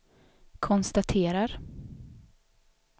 konstaterar